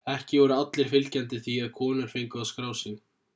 ekki voru allir fylgjandi því að konur fengu að skrá sig